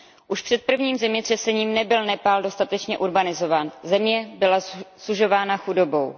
Už před prvním zemětřesením nebyl Nepál dostatečně urbanizován, země byla sužována chudobou.